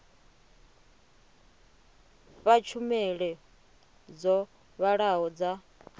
fha tshumelo dzo vhalaho dza